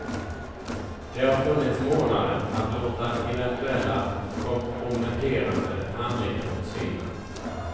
Det har funnits månader att låta eventuella komprometterande handlingar försvinna.